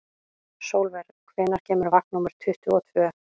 Sólver, hvenær kemur vagn númer tuttugu og tvö?